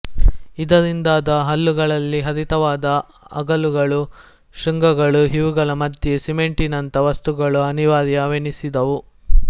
ಇದರಿಂದಾದ ಹಲ್ಲುಗಳಲ್ಲಿ ಹರಿತವಾದ ಅಲಗುಗಳು ಶೃಂಗಗಳು ಇವುಗಳ ಮಧ್ಯೆ ಸಿಮೆಂಟಿನಂಥ ವಸ್ತುಗಳು ಅನಿವಾರ್ಯವೆನಿಸಿದುವು